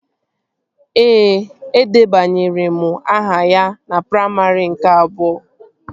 Ee, edebanyere m aha ya na praimarị nke abụọ